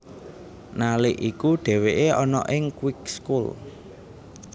Nalik iku dheweke ana ing Kweekschool